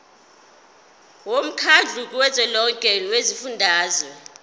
womkhandlu kazwelonke wezifundazwe